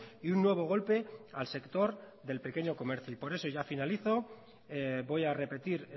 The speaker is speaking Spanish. y un nuevo golpe al sector del pequeño comercio y por eso ya finalizo voy a repetir